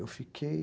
Eu fiquei...